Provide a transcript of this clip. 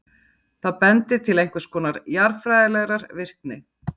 það bendir til einhvers konar jarðfræðilegrar virkni